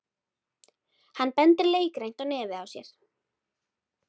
Hann bendir leikrænt á nefið á sér.